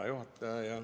Hea juhataja!